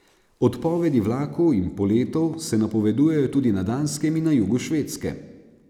Odpovedi vlakov in poletov se napovedujejo tudi na Danskem in na jugu Švedske.